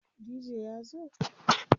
dj ya zo?